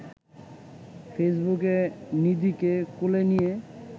ফেইসবুকে নিধিকে কোলে নিয়ে